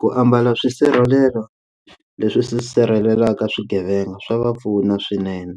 Ku ambala swisirhelelo leswi sirhelelaka swigevenga swa va pfuna swinene